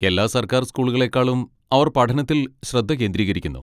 എല്ലാ സർക്കാർ സ്കൂളുകളേക്കാളും അവർ പഠനത്തിൽ ശ്രദ്ധ കേന്ദ്രീകരിക്കുന്നു.